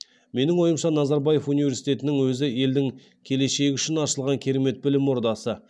менің ойымша назарбаев университетінің өзі елдің келешегі үшін ашылған керемет білім ордасы